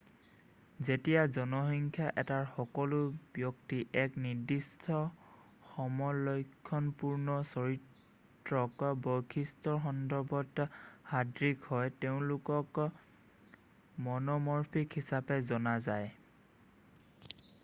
যেতিয়া জনসংখ্যা এটাৰ সকলো ব্যক্তি এক নিৰ্দিষ্ট সমলক্ষণপূৰ্ণ চাৰিত্ৰিক বৈশিষ্টৰ সন্দৰ্ভত সদৃশ হয় তেওঁলোকক ম'নমৰ্ফিক হিচাপে জনা যায়